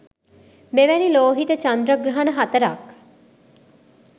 මෙවැනි ලෝහිත චන්ද්‍රග්‍රහණ හතරක්